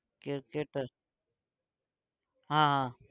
cricketer. હા હા